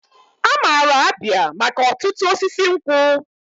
Amara Abia maka otutu osisi nkwu.